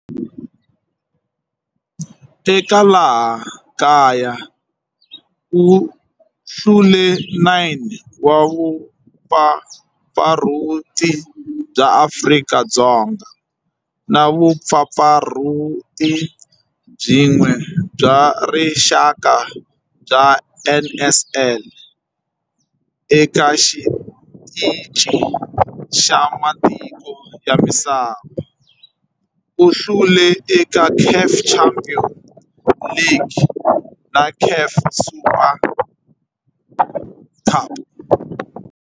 Eka laha kaya u hlule 9 wa vumpfampfarhuti bya Afrika-Dzonga na vumpfampfarhuti byin'we bya rixaka bya NSL. Eka xiteji xa matiko ya misava, u hlule eka CAF Champions League na CAF Super Cup.